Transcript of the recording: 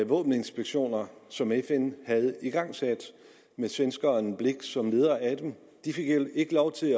våbeninspektioner som fn havde igangsat med svenskeren hans blix som leder de fik ikke lov til